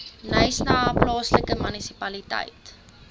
knysna plaaslike munisipaliteit